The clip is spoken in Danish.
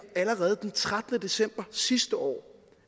allerede den trettende december sidste år